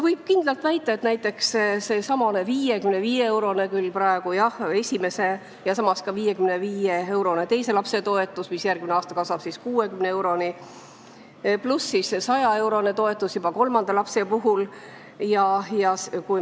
Praegu on esimese ja teise lapse toetus 55 eurot, järgmisel aastal kasvab see 60 euroni, kolmanda lapse puhul on 100-eurone toetus.